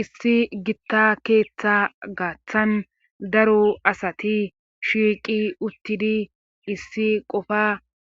issi gitta keeththa gaththan daru asati shiiqi uttidi issi qofa